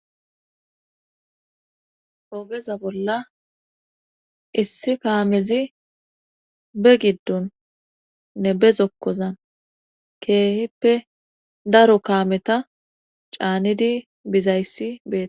Oogeza bolla issi kaamezi be giddun nne be zokkozan keehippe daro kaameta caanidi bizayssi beetes.